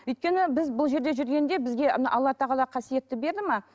өйткені біз бұл жерде жүргенде бізге алла тағала қасиетті берді ме